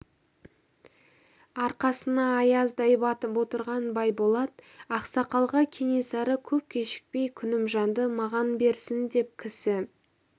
арқасына аяздай батып отырған байболат ақсақалға кенесары көп кешікпей күнімжанды маған берсін деп кісі